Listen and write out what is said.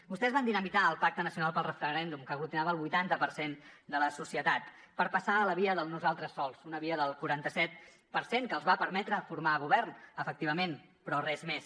vostès van dinamitar el pacte nacional pel referèndum que aglutinava el vuitanta per cent de la societat per passar a la via del nosaltres sols una via del quaranta set per cent que els va permetre formar govern efectivament però res més